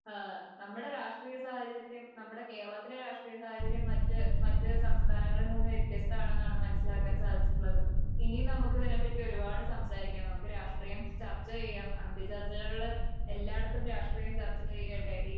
ഏഹ് നമ്മുടെ രാഷ്ട്രീയ സാഹചര്യം നമ്മുടെ കേരളത്തിലെ രാഷ്ട്രീയ സാഹചര്യം മറ്റ് സംസ്ഥാനങ്ങളിൽ നിന്ന് വ്യത്യസ്തമാണെന്നാണ് മനസിലാക്കാൻ സാധിച്ചിട്ടുള്ളത്. ഇനി നമുക്കിതിനെപ്പറ്റി ഒരുപാട് സംസാരിക്കണം. നമുക്ക് രാഷ്ട്രീയം ചർച്ചചെയ്യാം. അന്തിചർച്ചകളിൽ എല്ലായിടത്തും രാഷ്ട്രീയം ചർച്ചചെയ്യട്ടെ